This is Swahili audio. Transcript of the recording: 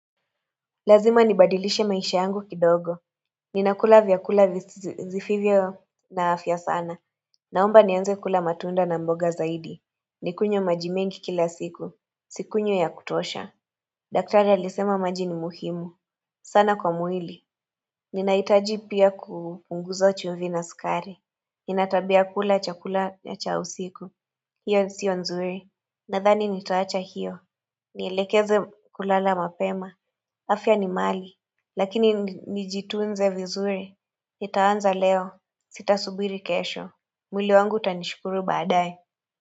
Lazima nibadilishe maisha yangu kidogo Ninakula vyakula visivyo na afya sana Naomba nianze kula matunda na mboga zaidi Nikunywe maji mengi kila siku Sikunywi ya kutosha daktari alisema maji ni muhimu sana kwa mwili Ninahitaji pia kupunguza chumvi na sukari Nina tabia ya kula chakula ya cha usiku hiyo sio nzuri Nadhani nitaacha hiyo Nielekeze kulala mapema afya ni mali Lakini nijitunze vizuri. Nitaanza leo. Sita subiri kesho. Mwili wangu utanishukuru baadae.